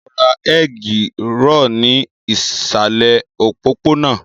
N ó lọ ra egg roll ní ìsàlẹ̀ òpópónà